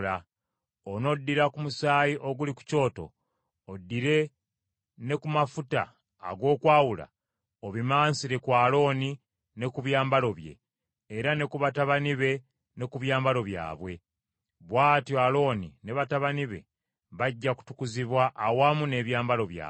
Onoddira ku musaayi oguli ku kyoto, oddire ne ku mafuta ag’okwawula, obimansire ku Alooni ne ku byambalo bye, era ne ku batabani be ne ku byambalo byabwe. Bw’atyo Alooni ne batabani be bajja kutukuzibwa awamu n’ebyambalo byabwe.